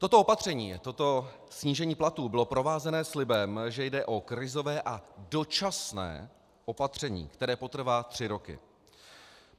Toto opatření, toto snížení platů bylo provázeno slibem, že jde o krizové a dočasné opatření, které potrvá tři roky.